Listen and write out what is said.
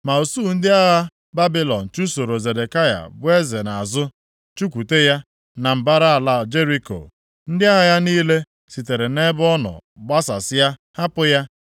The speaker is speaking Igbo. Ma usuu ndị agha Babilọn + 52:8 Kaldịa dịkwa nʼamaokwu nke 14 na 17 chụsoro Zedekaya bụ eze nʼazụ, chụkwute ya na mbara ala Jeriko. Ndị agha ya niile sitere nʼebe ọ nọ gbasasịa, hapụ ya,